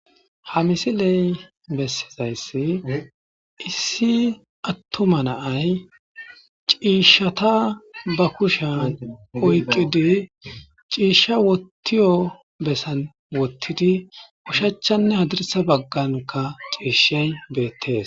Ha misiley bessizayssi issi attuma naay ciishshata ba kusha oyqqidi ciishsha wottiyo bessan wottidi ushachanne hadirsa bagganka ciishshey beettees